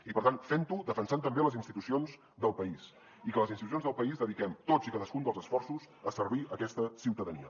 i per tant fent ho defensant també les institucions del país i que les institucions del país dediquem tots i cadascun dels esforços a servir aquesta ciutadania